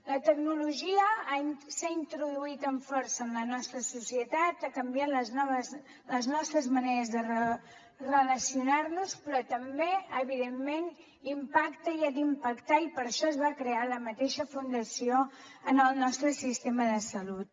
la tecnologia s’ha introduït amb força en la nostra societat ha canviat les nostres maneres de relacionar nos però també evidentment impacta i ha d’impactar i per això es va crear la mateixa fundació en el nostre sistema de salut